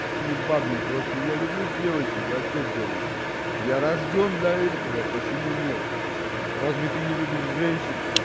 не бабник просто я люблю девочек а что делаете я рождён для этого почему нет разве ты не любишь женщин